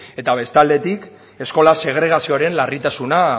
eta beste aldetik eskola segregazioaren larritasuna